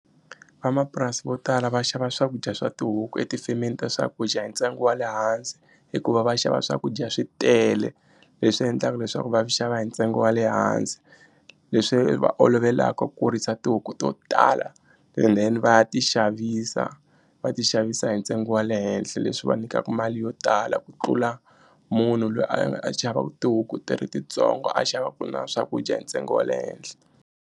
Vamapurasi vo tala va xava swakudya swa tihuku etifemeni ta swakudya hi ntsengo wa le hansi hikuva va xava swakudya swi tele leswi endlaka leswaku va xava hi ntsengo wa le hansi leswi va olovelaka ku kurisa tihuku to tala and then va ya ti xavisa va ti xavisa hi ntsengo wa le henhla leswi va nyikaku mali yo tala ku tlula munhu loyi a xavaka tihuku ti ri tintsongo a xavaku na swakudya hi ntsengo wa le henhla.